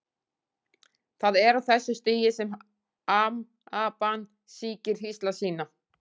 Það er á þessu stigi sem amaban sýkir hýsla sína.